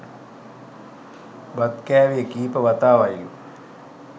බත් කෑවෙ කීප වතාවයිලු